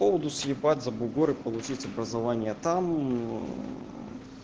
поводу съебаться за бугор и получить образование там